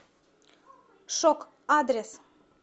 шок адрес